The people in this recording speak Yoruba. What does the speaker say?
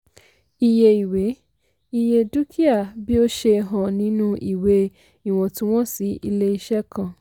iye ìwé - iye dúkìá bí ó ṣe hàn nínú ìwé ìwọ̀ntunwọ̀nsí ilé-iṣẹ́ kan.